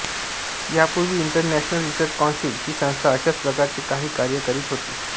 यापूर्वी international research council ही संस्था अशाच प्रकारचे काही कार्य करीत होती